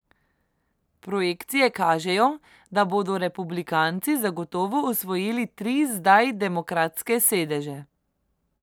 Projekcije kažejo, da bodo republikanci zagotovo osvojili tri zdaj demokratske sedeže.